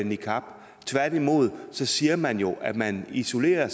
niqab tværtimod siger man jo at man isolerer